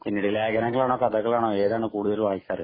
ലേഖനങ്ങളാണോ, കഥകളാണോ ഏതാണ് കൂടുതല്‍ വായിക്കുക.